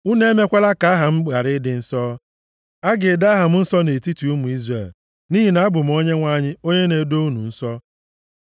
Unu emekwala ka aha m ghara ịdị nsọ. A ga-edo aha m nsọ nʼetiti ụmụ Izrel, nʼihi na abụ m Onyenwe anyị onye na-edo unu nsọ.